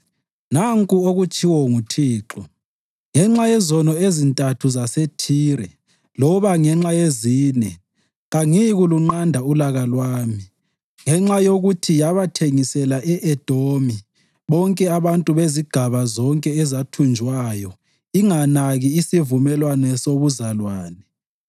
Nanku okutshiwo nguThixo: “Ngenxa yezono ezintathu zaseThire loba ngenxa yezine, kangiyikulunqanda ulaka lwami. Ngenxa yokuthi yabathengisela e-Edomi bonke abantu bezigaba zonke ezathunjwayo inganaki isivumelwano sobuzalwane,